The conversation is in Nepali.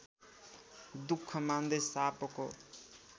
दुःख मान्दै सापको